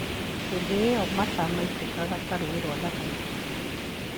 Hĩndĩ ĩo mata maitĩkaga ta rũũĩ rwa Thagana